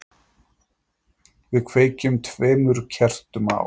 Við kveikjum tveimur kertum á